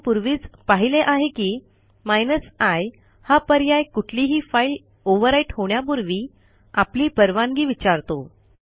आपण पूर्वीच पाहिले आहे की i हा पर्याय कुठलीही फाईल ओव्हरराईट होण्यापूर्वी आपली परवानगी विचारतो